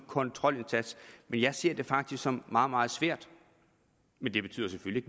kontrolindsats men jeg ser det faktisk som meget meget svært men det betyder selvfølgelig